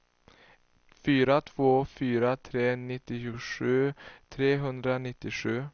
fyra två fyra tre nittiosju trehundranittiosju